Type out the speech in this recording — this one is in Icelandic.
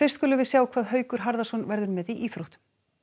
skulum við sjá hvað Haukur Harðarson verður með í íþróttum